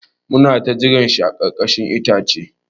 Mu na ta jiran shi a ƙarkashin itacen.